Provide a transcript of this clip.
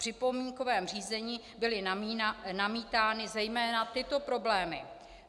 V připomínkovém řízení byly namítány zejména tyto problémy: